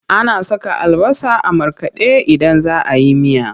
Ana saka albasa a markaɗe idan za a yi miya.